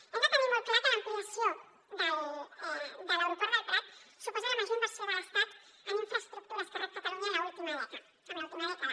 hem de tenir molt clar que l’ampliació de l’aeroport del prat suposa la major in·versió de l’estat en infraestructures que rep catalunya en l’última dècada